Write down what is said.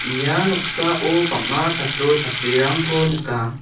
ia noksao bang·a chatro chatrirangko nika.